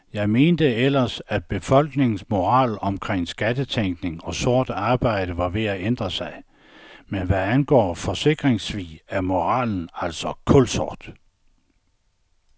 Jeg mente ellers, at befolkningens moral omkring skattetænkning og sort arbejde var ved at ændre sig, men hvad angår forsikringssvig er moralen altså kulsort.